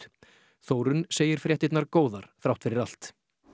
Þórunn segir fréttirnar góðar þrátt fyrir allt